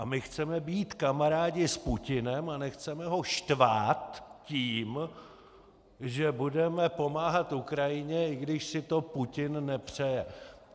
A my chceme být kamarádi s Putinem a nechceme ho štvát tím, že budeme pomáhat Ukrajině, i když si to Putin nepřeje.